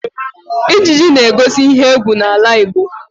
Ijiji na-egosi ihe égwú n'ala Igbo